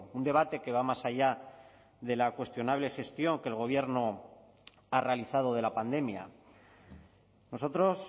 un debate que va más allá de la cuestionable gestión que el gobierno ha realizado de la pandemia nosotros